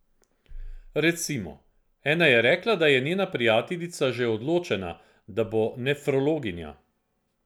Recimo, ena je rekla, da je njena prijateljica že odločena, da bo nefrologinja.